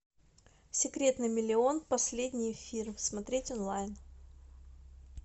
секрет на миллион последний эфир смотреть онлайн